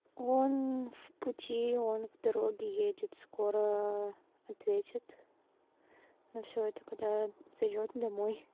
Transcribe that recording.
он в пути он в дороге едет скоро ответит но всё это когда зайдёт домой